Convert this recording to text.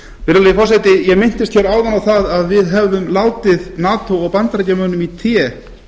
virðulegi forseti ég minntist hér áðan á að við hefðum látið nato og bandaríkjamönnum í té